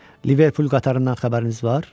Liverpool qatarından xəbəriniz var?